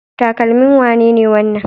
Takalmin wane ne wannan?